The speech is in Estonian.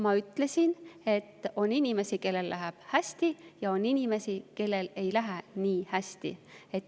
Ma ütlesin, et on inimesi, kellel läheb hästi, ja on inimesi, kellel ei lähe nii hästi.